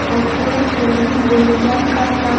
वो चड करून वयल्यान काडला.